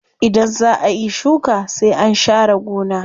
Idan zaa ayi shuka sai an sha re gona.